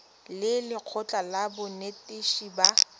le lekgotlha la banetetshi ba